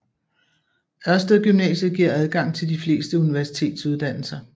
Ørsted Gymnasiet giver adgang til de fleste universitetsuddannelser